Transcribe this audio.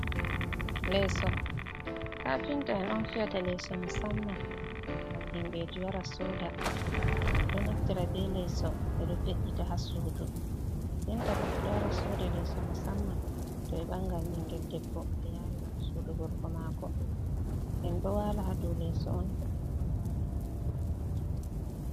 Leeso kafinta'en on fiyata leeso musamma ngam himɓɓeji wara soda, ɓe ɗo naftira be leeso ɓe ɗo ve’’ita ha sudu men, denta bo ɓe ɗo wara soda leeso musamma to ɓe bangan ɓingel debbo be yarira mo sudu gorgo mako, en ɗo wala ha dou leeso on ngam en wala en fit ma yonki.